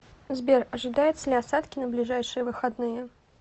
сбер ожидаются ли осадки на ближайшие выходные